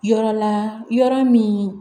Yɔrɔ la yɔrɔ min